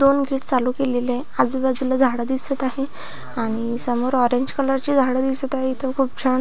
दोन गेट चालू केलेले आहे आजूबाजूला झाड दिसत आहे आणि समोर ऑरेंज कलर ची झाड दिसत आहे इथ खुप छान --